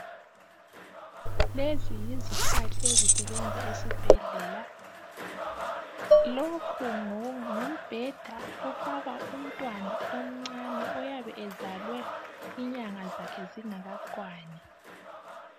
Lezi yizikhali ezisebenza esibhedlela, lokhu ngumbheda wokufaka umntwana omncane oyabe ezalwe inyanga zakhe zingakakwani.